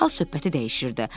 Dərhal söhbəti dəyişirdi.